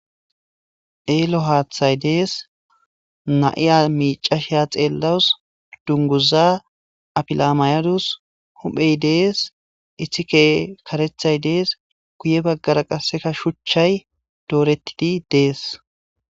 eelo haathay dees na'iya miicashiya xeellawus dunguza apilamaydus huphey dees ihike karethay dees guye baggara qasseka shuchchay doorettidi dees